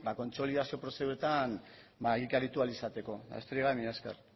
kontsolidazio prozeduretan egikaritu ahal izateko besterik gabe mila esker